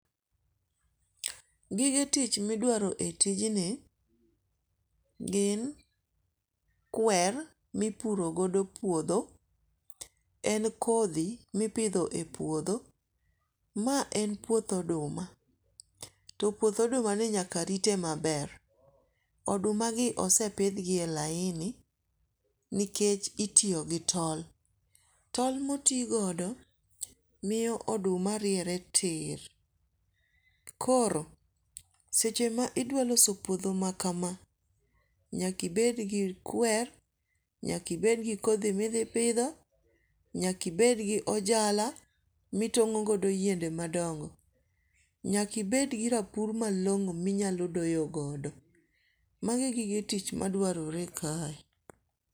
Gige tich midwaro e tijni, gin kwer mipuro godo puotho, en kothi mipitho e puotho. Ma en puoth oduma to puoth odumani nyaka rite maber, odumagi osepithgie e laini nikech itiyo gi tol, tol motigodo miyo oduma riere tir, koro seche ma idwa loso puotho makama, nyakibed gi kwer, nyaki bed gi kothi mithipitho, nyakibed gi ojala mitongo godo yiende madongo, nyakibed gi rapur malongo minyalo doyogodo. Magi gige tich maduarore kae.